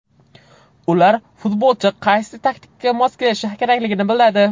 Ular futbolchi qaysi taktikaga mos kelishi kerakligini biladi.